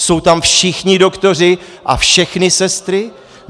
Jsou tam všichni doktoři a všechny sestry?